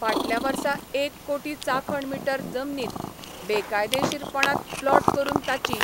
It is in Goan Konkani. फाटल्या वर्सा एक कोटी चाखण मिटर जमनीत बेकायदेशीरपणांत प्लॉट करून ताची